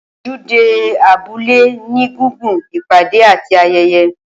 Ojúde abúlé ní gùngun ipade àti ayẹyẹ